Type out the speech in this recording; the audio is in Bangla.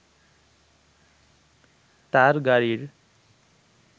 তার গাড়ির